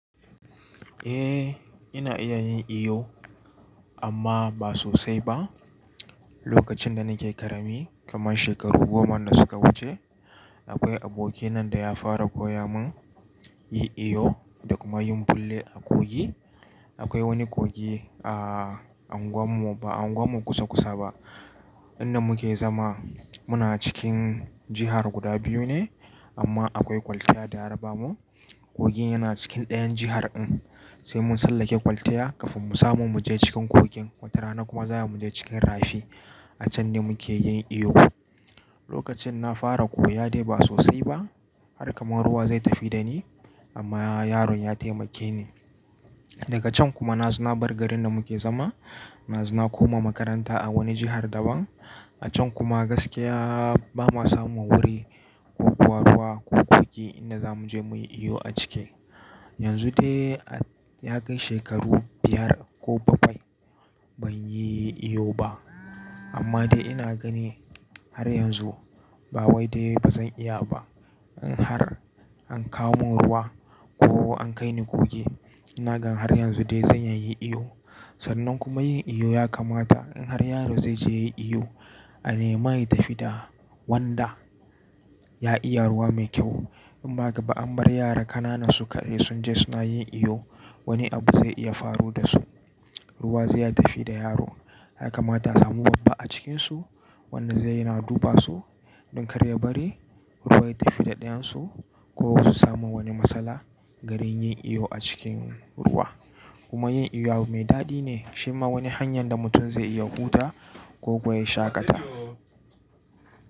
Eh ina iya yin iyo amma ba sosai ba. Lokacin da nake ƙarami kamar shekaru goman da suka wuce, akwai abokina da ya fara koya mun yin iyo da kuma yin ɓulle a kogi. Akwai wani kogi a unguwan mu ba unguwan mu kusa-kusa ba. Inda muke zama muna cikin jihar guda biyu ne amma akwai kwaltaya da raba mu. Kogin yana cikin ɗayan jihar in sai mun tsallake kwalta kamin mu samu mu je cikin kogin. Wata rana kuma za mu je cikin rafi. A can ne muke yin iyo. Lokacin na fara koya dai ba sosai ba har kamar ruwa zai tafi da ni amma yaron ya taimake ni. Daga can kuma na zo na bar garin da muke zama. Na zo na koma makaranta a wani jihar daban. A can kuma gaskiya ba ma samun wuri ko ko ruwa ko kogi inda za mu je muyi iyo a ciki. Yanzu dai ya kai shekaru biyar ko bakwai ban yi iyo ba amma dai ina gani har yanzu ba wai dai ba zan iya ba. In har an kawo mun ruwa ko an kai ni kogi ina gani har yanzu dai zan iya yin iyo. Sannan kuma yin iyo ya kamata in har yaro zai je ya yi iyo a nema ya tafi da wanda ya iya ruwa mai kyau. In ba haka ba an bar yara ƙanana su kaɗai sunje yin iyo wani abu zai iya faru da su. Ruwa zai tafi da yaro. Ya kamata a samu babba a cikinsu wanda zai dinga duba su don kar ya bari ruwa ya tafi da ɗayan su ko su samu wani matsala garin yin iyo a cikin ruwa. Kuma yin iyo abu mai daɗi ne. Shi ma wani hanyar da mutum zai iya hutawa ko kuwa ya shaƙata.